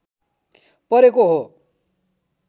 परेको हो